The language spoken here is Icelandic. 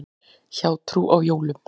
Hjátrú á jólum.